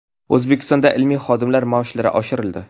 O‘zbekistonda ilmiy xodimlar maoshlari oshirildi.